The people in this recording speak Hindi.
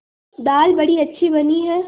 दाल बड़ी अच्छी बनी है